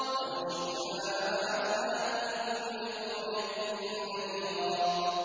وَلَوْ شِئْنَا لَبَعَثْنَا فِي كُلِّ قَرْيَةٍ نَّذِيرًا